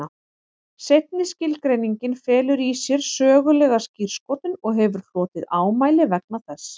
Seinni skilgreiningin felur í sér sögulega skírskotun og hefur hlotið ámæli vegna þess.